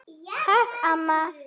Takk, amma.